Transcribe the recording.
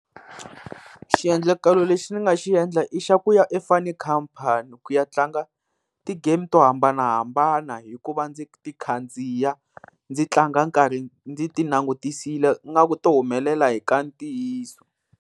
Xiendlakalo lexi ni nga xi endla i xa ku ya e-fun khampani ku ya tlanga ti-game to hambanahambana, hikuva ndzi ti khandziya ndzi tlanga nkarhi ndzi ti langutisile ingaku to humelela hi ka ntiyiso.